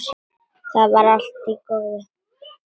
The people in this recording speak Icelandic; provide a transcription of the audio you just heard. Það var allt í góðu.